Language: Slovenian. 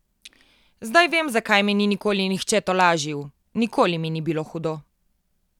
Zdaj vem, zakaj me ni nikoli nihče tolažil, nikoli mi ni bilo hudo!